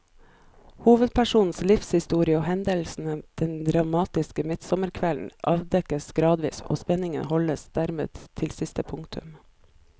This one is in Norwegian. Hovedpersonens livshistorie og hendelsene den dramatiske midtsommerkvelden avdekkes gradvis, og spenningen holdes dermed til siste punktum.